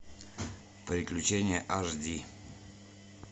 приключение ашди